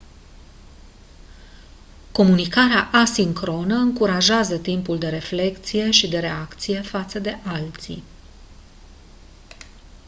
comunicarea asincronă încurajează timpul de reflecție și de reacție față de alții